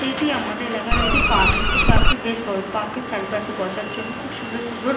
এটি আমাদের এলাকার একটি পার্ক এই পার্ক টি বেশ বড় পার্ক এর চারিপাশে বসার জন্য খুব সুন্দর সুন্দর--